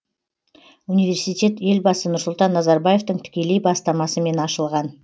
университет елбасы нұрсұлтан назарбаевтың тікелей бастамасымен ашылған